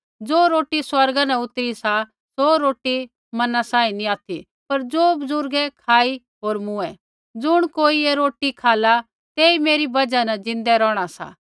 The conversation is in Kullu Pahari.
ज़ो रोटी स्वर्गा न उतरी सा सौ रोटी मन्ना सांही नी ऑथि पर ज़ो बुज़ुर्गै खाई होर मूँऐ ज़ुण कोई ऐ रोटी खाला तेई मेरी बजहा ज़िन्दै रौहणा सा